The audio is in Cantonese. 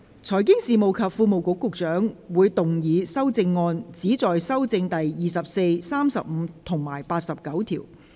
財經事務及庫務局局長會動議修正案，旨在修正第24、35及89條。